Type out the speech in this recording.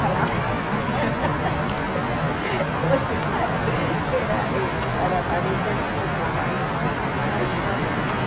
Falava. Porque, claro, era e para parecer um pouco mais mais forte, né?